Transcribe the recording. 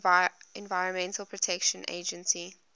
environmental protection agency